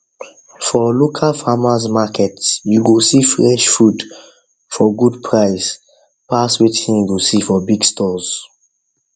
for local farmers market you go see fresh food for good price pass wetin you go see for big stores